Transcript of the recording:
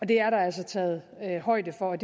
det er der altså taget højde for